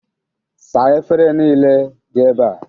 Saa efere nile dị ebea!